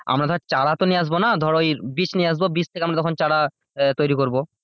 আমরা তো চারা তো নিয়ে এসব না ধর ওই বীজ নিয়ে আসবো বীজ থেকে তখন আমরা চারা আহ তৈরী করবো।